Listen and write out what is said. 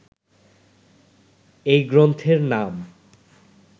এই গ্রন্থের নাম